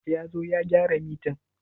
Ya zo ya gyara mitan?